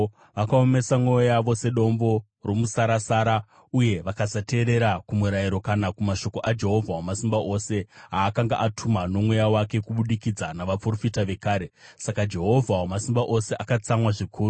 Vakaomesa mwoyo yavo sedombo romusarasara uye vakasateerera kumurayiro kana kumashoko aJehovha Wamasimba Ose aakanga atuma noMweya wake kubudikidza navaprofita vekare. Saka Jehovha Wamasimba Ose akatsamwa zvikuru.